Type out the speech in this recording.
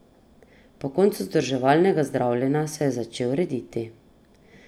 Po koncu vzdrževalnega zdravljenja se je začel rediti.